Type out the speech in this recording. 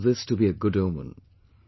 I consider this to be a good omen